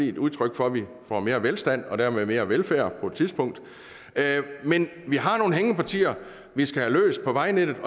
et udtryk for at vi får mere velstand og dermed mere velfærd på et tidspunkt men vi har nogle hængepartier på vejnettet vi